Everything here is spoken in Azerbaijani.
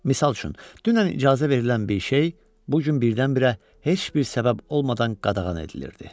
Misal üçün, dünən icazə verilən bir şey bu gün birdən-birə heç bir səbəb olmadan qadağan edilirdi.